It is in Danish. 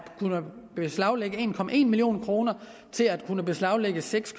beslaglagt en million kroner til at kunne beslaglægge seks